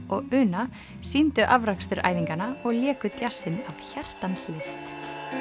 og Una sýndu afrakstur æfinganna og léku djassinn af hjartans list